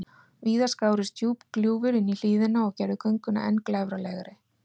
Víða skárust djúp gljúfur inní hlíðina og gerðu gönguna enn glæfralegri.